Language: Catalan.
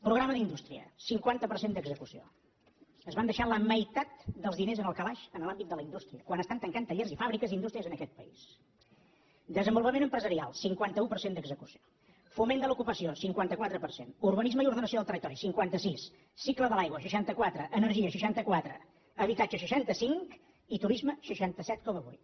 programa d’indústria cinquanta per cent d’execució es van deixar la meitat dels diners al calaix en l’àmbit de la indústria quan estan tancant tallers i fàbriques i indús·tries en aquest país desenvolupament empresarial cinquanta un per cent d’execució foment de l’ocupació cinquanta quatre per cent urbanisme i ordenació del territori cinquanta sis cicle de l’aigua seixanta quatre energia seixanta quatre habitatge seixanta cinc i turisme seixanta set coma vuit